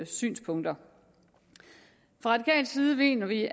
synspunkter fra radikal side mener vi